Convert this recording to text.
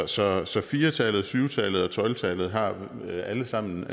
så så fire tallet syv tallet og tolv tallet har alle sammen